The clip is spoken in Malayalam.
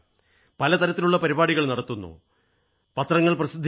പല തരത്തിലുള്ള പരിപാടികൾ നടത്തുന്നു പത്രിക പ്രസിദ്ധീകരിക്കുന്നു